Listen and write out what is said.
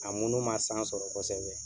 A munu man san sɔrɔ kosɛbɛ.